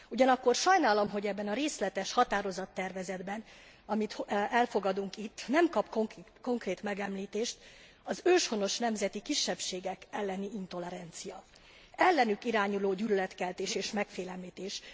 Ugyanakkor sajnálom, hogy ebben a részletes határozattervezetben, amit elfogadunk itt, nem kap konkrét megemlítést az őshonos nemzeti kisebbségek elleni intolerancia, az ellenük irányuló gyűlöletkeltés és megfélemlítés.